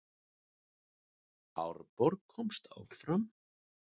Árborg komst áfram